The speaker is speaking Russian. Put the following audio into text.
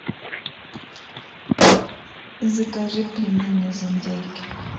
закажи пельмени из индейки